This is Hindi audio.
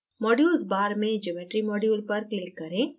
modules bar में geometry module पर click करें